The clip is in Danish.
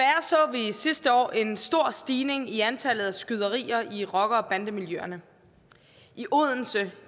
vi sidste år en stor stigning i antallet af skyderier i rocker og bandemiljøerne i odense